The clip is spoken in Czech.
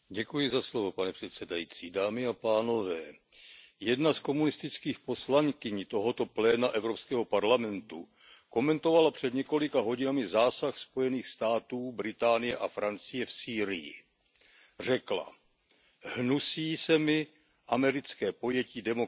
Pane předsedající, jedna z komunistických poslankyň tohoto pléna Evropského parlamentu komentovala před několika hodinami zásah Spojených států, Británie a Francie v Sýrii. Řekla Hnusí se mi americké pojetí demokracie